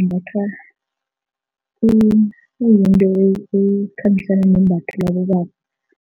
umbathwa ekhambisana nembatho labobaba.